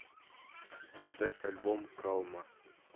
поставь альбом калма